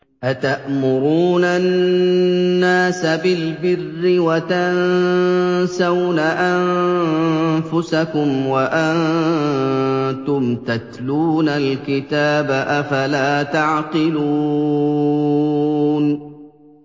۞ أَتَأْمُرُونَ النَّاسَ بِالْبِرِّ وَتَنسَوْنَ أَنفُسَكُمْ وَأَنتُمْ تَتْلُونَ الْكِتَابَ ۚ أَفَلَا تَعْقِلُونَ